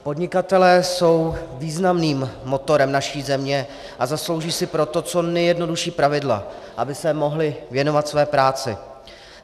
Podnikatelé jsou významným motorem naší země, a zaslouží si proto co nejjednodušší pravidla, aby se mohli věnovat své práci.